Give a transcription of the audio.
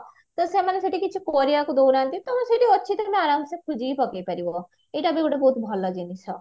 ତ ସେମାନେ ସେଠି କିଛି କରିବାକୁ ଦଉନାହାନ୍ତି ତମର ସେଇଠି ଅଛି ତମେ ଆରମସେ ଖୋଜିକି ପକେଇପାରିବା ଏଇଟା ବି ଗୋଟେ ବହୁତ ଭଲ ଜିନିଷ